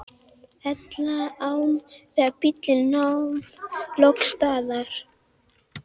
Elliðaám þegar bíllinn nam loks staðar.